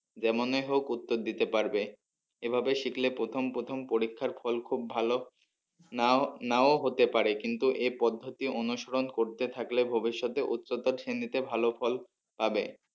যেমনই হোক উত্তর দিতে পারবে এভাবে শিখলে প্রথম প্রথম পরীক্ষার ফল খুব ভালো নাও, নাও হতে পারে কিন্তু এই পদ্ধতি অনুসরণ করতে থাকলে ভবিষ্যতে উচ্চতার শ্রেণীতে ভালো ফল পাবে।